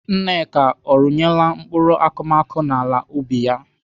Nneka ọ rụnyela mkpụrụ akụmakụ n'ala ubi ya?